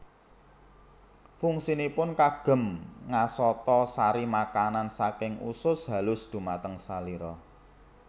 Fungsinipun kagem ngasata sari makanan saking usus halus dumateng salira